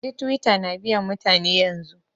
Na ji Twitter na biyan mutane yanzun.